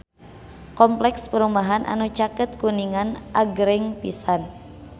Kompleks perumahan anu caket Kuningan agreng pisan